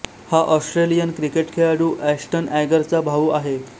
हा Australian cricket खेळाडू Ashton Agar चा भाऊ आहे